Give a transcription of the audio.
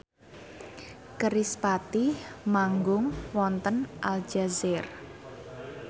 kerispatih manggung wonten Aljazair